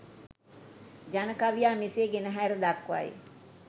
ජන කවියා මෙසේ ගෙනහැර දක්වයි.